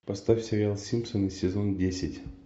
поставь сериал симпсоны сезон десять